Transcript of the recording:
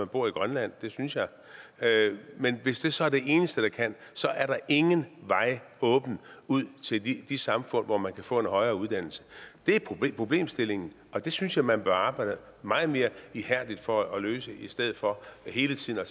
bor i grønland synes jeg men hvis det så er det eneste de kan så er der ingen vej åben ud til de samfund hvor man kan få en højere uddannelse det er problemstillingen og det synes jeg man bør arbejde meget mere ihærdigt for at løse i stedet for hele tiden at